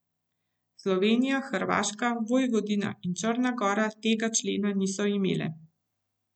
Slovenija, Hrvaška, Vojvodina in Črna gora tega člena niso imele.